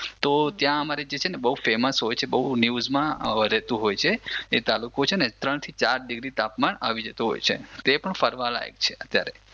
તો ત્યાં અમારે જે છે ને બહુ ફેમસ હોય છે બહુ ન્યૂઝમાં રેતુ હોય છે એ તાલુકો છે ને ત્રણથી ચાર ડિગ્રી તાપમાન આવી જતું હોય છે તે પણ ફરવા લાયક છે અત્યારે